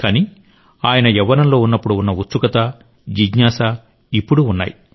కానీ ఆయన యవ్వనంలో ఉన్నప్పుడు ఉన్న ఉత్సుకత జిజ్ఞాస ఇప్పుడూ ఉన్నాయి